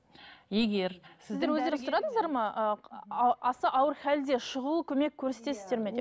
егер аса ауыр халде шұғыл көмек көрсетесіздер ме деп